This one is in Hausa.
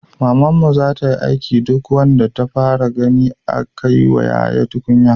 Mamanmu zata aiki duk wanda ta fara gani ya kaiwa yaya tukunya